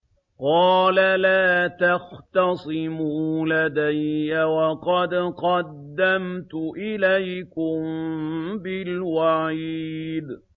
قَالَ لَا تَخْتَصِمُوا لَدَيَّ وَقَدْ قَدَّمْتُ إِلَيْكُم بِالْوَعِيدِ